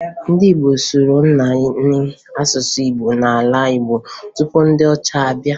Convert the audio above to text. Ndị Igbo sụrụ naanị asụsụ Igbo n'ala Igbo tupu ndị ọcha abịa